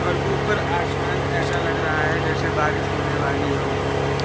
और ऊपर आसमान ऐसा लग रहा है जैसे बारिश होने वाली हो--